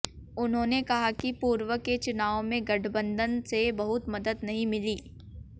उन्होंने कहा कि पूर्व के चुनावों में गठबंधन से बहुत मदद नहीं मिली